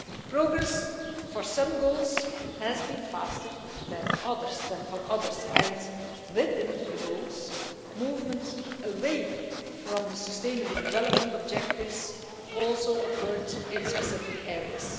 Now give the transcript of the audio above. Progress for some goals has been faster than for others and within the goals movement away from the sustainable development objectives also occurred in specific areas.